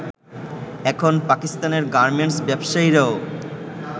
এখন পাকিস্তানের গার্মেন্টস ব্যবসায়ীরাও